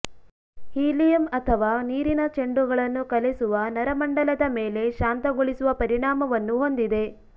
helium ಅಥವಾ ನೀರಿನ ಚೆಂಡುಗಳನ್ನು ಕಲೆಸುವ ನರಮಂಡಲದ ಮೇಲೆ ಶಾಂತಗೊಳಿಸುವ ಪರಿಣಾಮವನ್ನು ಹೊಂದಿದೆ